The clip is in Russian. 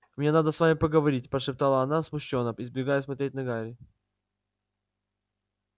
мне надо с вами поговорить прошептала она смущённо избегая смотреть на гарри